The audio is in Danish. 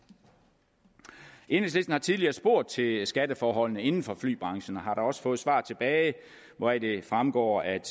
enhedslisten har tidligere spurgt til skatteforholdene inden for flybranchen og har da også fået svar tilbage hvoraf det fremgår at